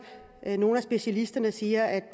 nogle af specialisterne siger at